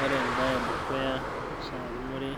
Ore embaye edukuya naishiakinore